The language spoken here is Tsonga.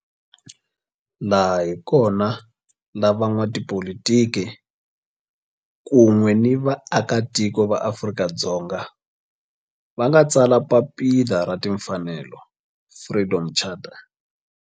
Laha hi kona la van'watipolitiki kun'we ni vaaka tiko va Afrika-Dzonga va nga tsala papila ra timfanelo, Freedom Charter.